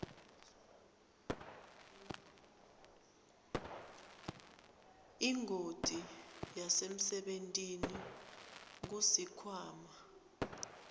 ingoti yasemsebentini kusikhwama